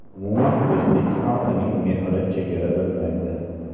Umuman o‘zbek xalqining mehri chegara bilmaydi.